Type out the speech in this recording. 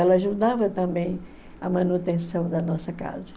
Ela ajudava também a manutenção da nossa casa.